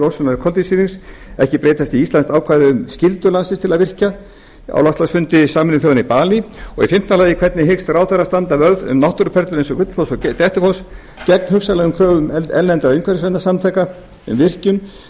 losunar koltvísýrings ekki breytast í íslenskt ákvæði um skyldu landsins til að virkja á loftslagsfundi sameinuðu þjóðanna í balí fimmta hvernig hyggst ráðherra standa vörð um náttúruperlur eins og gullfoss og dettifoss gegn hugsanlegri kröfu erlendra umhverfisverndarsamtaka um virkjanir þegar